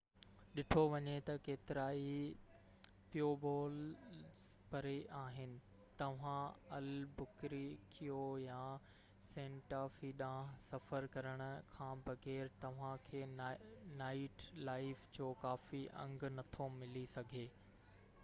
ڏٺو وڃي ته ڪيترائي پيوبولز پري آهن توهان البُڪريڪيو يا سينٽا في ڏانهن سفر ڪرڻ کان بغير توهانکي نائيٽ لائيف جو ڪافي انگ نٿو ملي سگهي